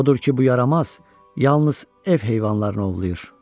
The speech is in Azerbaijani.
Odur ki, bu yaramaz yalnız ev heyvanlarını ovlayır.